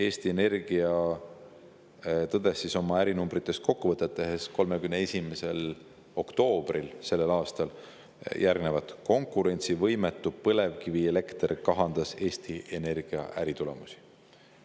Eesti Energia tõdes oma ärinumbritest kokkuvõtet tehes selle aasta 31. oktoobril, et konkurentsivõimetu põlevkivielekter kahandas Eesti Energia äritulemusi.